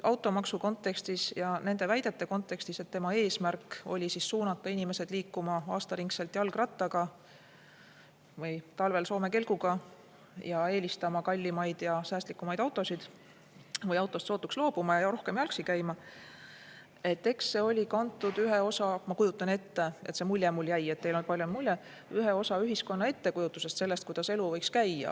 Automaksu kontekstis ja nende väidete kontekstis, et eesmärk oli suunata inimesed liikuma aastaringselt jalgrattaga või talvel soome kelguga ja eelistama kallimaid ja säästlikumaid autosid või autost sootuks loobuma ja rohkem jalgsi käima – ma kujutan ette, see mulje mulle jäi, et see oli kantud ühe osa ühiskonna ettekujutusest sellest, kuidas elu võiks käia.